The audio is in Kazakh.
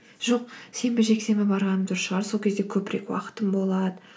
жоқ сенбі жексенбі барғаным дұрыс шығар сол кезде көбірек уақытым болады